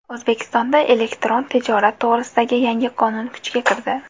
O‘zbekistonda elektron tijorat to‘g‘risidagi yangi qonun kuchga kirdi.